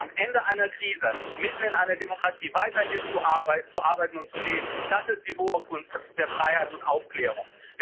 Aber am Ende einer Krise mitten in einer Demokratie weiterhin zu arbeiten und zu leben, das ist die hohe Kunst der Freiheit und Aufklärung.